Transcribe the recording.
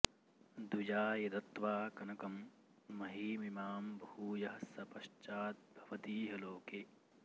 द्विजाय दत्त्वा कनकं महीमिमां भूयः स पश्चाद्भवतीह लोके